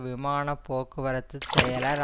விமான போக்கு வரத்து செயலாளர்